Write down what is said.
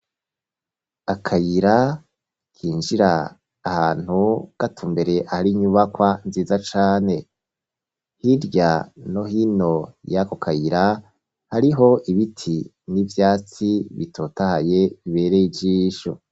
Akayira kinjira ahantu, gatumbereye ahari inyubakwa nziza cane, hirya no hino y'ako kayira, hariho ibiti n'ivyatsi bitotahaye, bibereye ijisho.